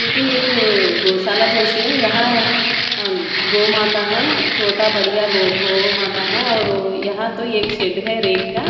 ये तो एक गोशाला जैसी है यहाँ अ गौ माता है छोटा बढ़िया गो गौ माता है और यहाँ तो एक शेड है रेत का--